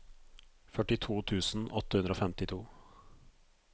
førtito tusen åtte hundre og femtito